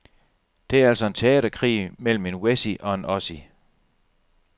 Det er altså en teaterkrig mellem en wessie og en ossie.